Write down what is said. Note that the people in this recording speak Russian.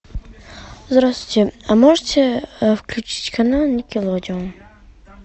здравствуйте а можете включить канал никелодеон